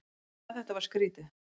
En hvað þetta var skrýtið.